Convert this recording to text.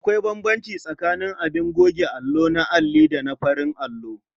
Akwai bambanci tsakaning abin goge allo na alli da farin allo.